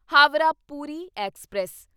Howrah Puri express